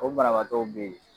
O banabatɔw bɛ yen!